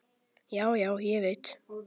Já, já, ég veit.